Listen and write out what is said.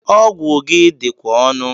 Ọgwụ gị dikwa onu